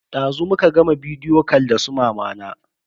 Dazu muka gama bidiyo kal da su mamana.